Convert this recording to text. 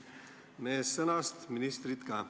Meest sõnast, ministrit ka.